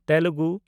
Telugu